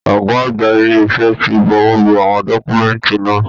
Ọgá àgbà ile-iṣẹ ti bùwọ́lù àwọn dọkumẹ̀nti náà.